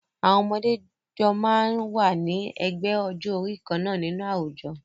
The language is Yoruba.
Àwọn ọmọdé jọ máa ń wà ní ẹgbẹ́ ọjọ́-orí kan náà nínú àwùjọ.